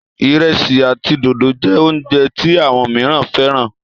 iresi àti dòdo jé oúnjẹ tí àwọn míràn féràn.